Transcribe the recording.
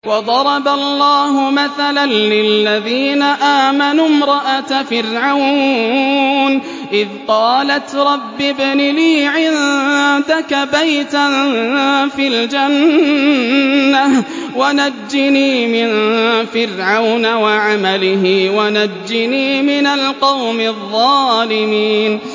وَضَرَبَ اللَّهُ مَثَلًا لِّلَّذِينَ آمَنُوا امْرَأَتَ فِرْعَوْنَ إِذْ قَالَتْ رَبِّ ابْنِ لِي عِندَكَ بَيْتًا فِي الْجَنَّةِ وَنَجِّنِي مِن فِرْعَوْنَ وَعَمَلِهِ وَنَجِّنِي مِنَ الْقَوْمِ الظَّالِمِينَ